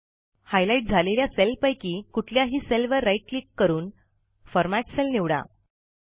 highlight झालेल्या सेलपैकी कुठल्याही सेलवर राईट क्लिक करून फॉर्मॅट सेल निवडा